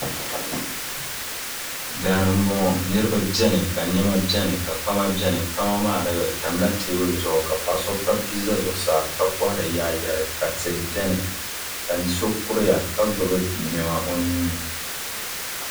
Daani mbɔŋɔ niriba bɛni ka nɛma bɛni ka kpama bɛni kpama maa di tamila tɛɛbuli zuɣu ka paɣa so kpabi bia za zuɣusaa ka kɔhiri yaayɛri ka tihi bɛni ka so ka gbubi nɛma o nuu ni.